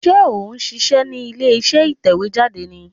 Sé ò n ṣíṣẹ́ ní ilé iṣẹ́ ìtẹ̀wé jáde ni